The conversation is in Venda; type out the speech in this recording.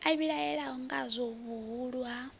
a vhilahela ngadzo vhuhulu ha